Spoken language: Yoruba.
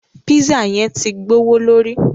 Pízzà yẹn tí gbọwọlórí.